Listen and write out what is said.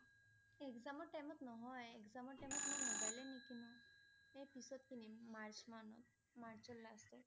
Exam ৰ time ত নহয় । exam ৰ time ত মই mobile এ নিকিনো। এ পিছত কীনিম মাৰ্চ মানত। মাৰ্চৰ last ত